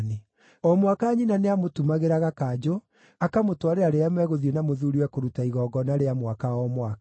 O mwaka nyina nĩamũtumagĩra gakanjũ, akamũtwarĩra rĩrĩa megũthiĩ na mũthuuriwe kũruta igongona rĩa mwaka o mwaka.